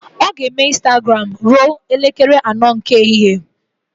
Ọ ga-eme Ịnstagram ruo elekere anọ nke ehihie